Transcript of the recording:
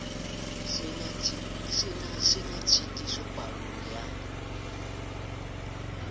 se na tshitiso palong ya